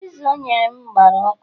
Piza o nyere m gbara ọkụ